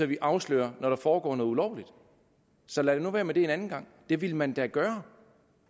vi afslører når der foregår noget ulovligt så lad nu være med det en anden gang det ville man da gøre